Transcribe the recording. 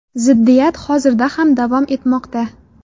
Ziddiyat hozirda ham davom etmoqda.